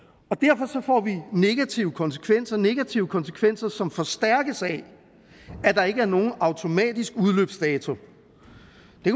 og vi negative konsekvenser negative konsekvenser som forstærkes af at der ikke er nogen automatisk udløbsdato